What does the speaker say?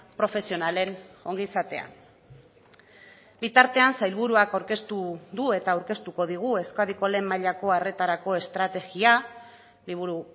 profesionalen ongizatea bitartean sailburuak aurkeztu du eta aurkeztuko digu euskadiko lehen mailako arretarako estrategia liburu